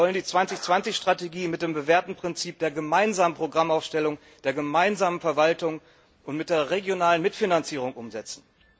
Wir wollen die 2020 Strategie mit dem bewährten Prinzip der gemeinsamen Programmaufstellung, der gemeinsamen Verwaltung und mit der regionalen Mitfinanzierung umsetzen.